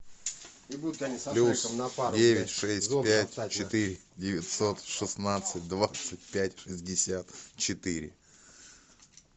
плюс девять шесть пять четыре девятьсот шестнадцать двадцать пять шестьдесят четыре